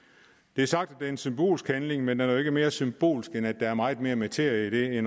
det er sagt det er en symbolsk handling men den er jo ikke mere symbolsk end at der er meget mere materie i det